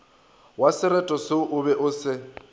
wasereto se o be o